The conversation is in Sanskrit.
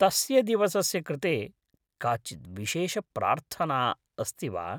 तस्य दिवसस्य कृते काचित् विशेषप्रार्थना अस्ति वा?